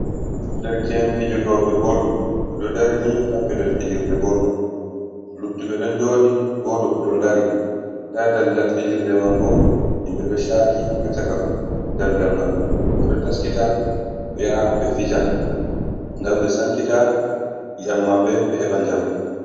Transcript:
Dereke'en fijotooɓe bol, ɓe ɗo ndari ni haa pellel fijlirde bol man. Luttuɓe ɗon njooɗi, gooto bo ɗo dari. Ndaa daldal fijirde man bo himɓe ɗo caaki haa caka daldal man. Ɓe ɗo taskita ɓe yaha ɓe fija ngam ɓe sankita i'am maɓɓe ɓe heɓa njamu.